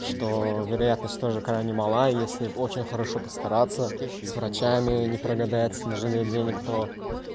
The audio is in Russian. что вероятность тоже крайне мала если очень хорошо постараться с врачами не прогадать не жалеть денег то